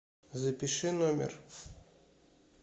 запиши номер